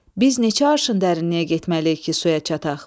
Biz neçə arşın dərinliyə getməliyik ki, suya çataq?